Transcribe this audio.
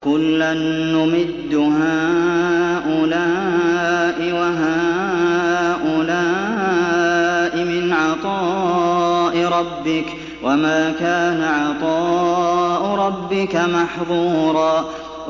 كُلًّا نُّمِدُّ هَٰؤُلَاءِ وَهَٰؤُلَاءِ مِنْ عَطَاءِ رَبِّكَ ۚ وَمَا كَانَ عَطَاءُ رَبِّكَ مَحْظُورًا